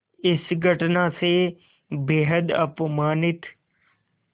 इस घटना से बेहद अपमानित